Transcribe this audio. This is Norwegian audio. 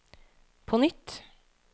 på nytt